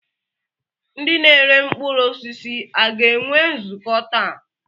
Ndị na-ere mkpụrụ osisi a ga-enwe nzukọ taa?